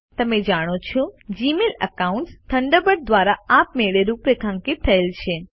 જેમ કે તમે જાણો છો જીમેઇલ એકાઉન્ટ્સ થન્ડરબર્ડ દ્વારા આપમેળે રૂપરેખાંકિત થયેલ છે